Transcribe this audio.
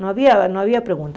Não havia não havia pergunta.